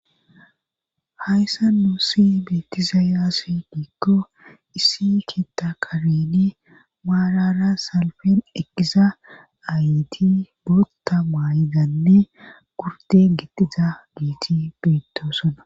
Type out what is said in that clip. hayssa nuussi beetizaay aze giikko issi keetta karyeeni maarara salfen eqqiza ayti botta maay7idanne gurden gidiza giiti beettoosana